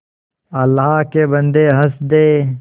अल्लाह के बन्दे हंस दे